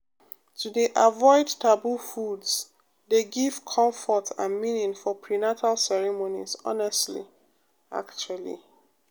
to dey avoid taboo foods dey give comfort and meaning for prenatal ceremonies honestly actually